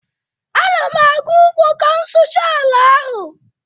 Ana m aga ugbo ka m sụchaa ala ahụ